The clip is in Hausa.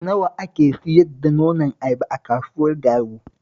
Nawa ake sayar da nonon ayaba a kasuwar Garu?